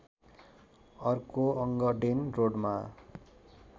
अर्को अङ्गडेन रोडमा